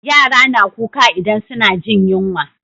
Yara na kuka idan suna jin yunwa